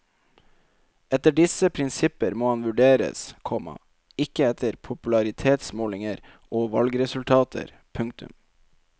Etter disse prinsipper må han vurderes, komma ikke etter popularitetsmålinger og valgresultater. punktum